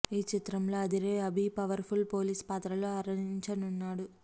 ఈ చిత్రంలో అదిరే అభి పవర్ ఫుల్ పోలీస్ పాత్రలో అలరించనున్నాడు